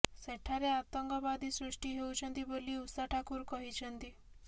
ସେଠାରେ ଆତଙ୍କବାଦୀ ସୃଷ୍ଟି ହେଉଛନ୍ତି ବୋଲି ଉଷା ଠାକୁର କହିଛନ୍ତି